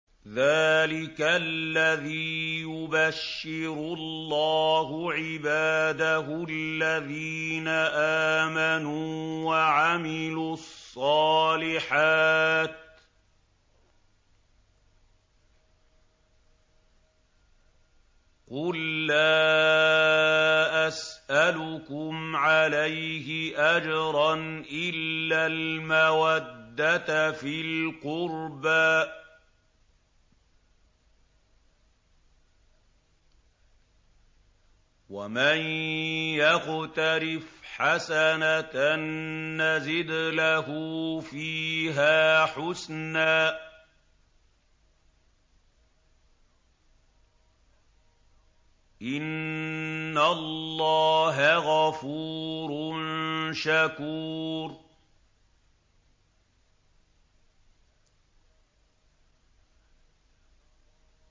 ذَٰلِكَ الَّذِي يُبَشِّرُ اللَّهُ عِبَادَهُ الَّذِينَ آمَنُوا وَعَمِلُوا الصَّالِحَاتِ ۗ قُل لَّا أَسْأَلُكُمْ عَلَيْهِ أَجْرًا إِلَّا الْمَوَدَّةَ فِي الْقُرْبَىٰ ۗ وَمَن يَقْتَرِفْ حَسَنَةً نَّزِدْ لَهُ فِيهَا حُسْنًا ۚ إِنَّ اللَّهَ غَفُورٌ شَكُورٌ